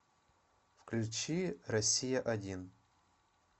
включи россия один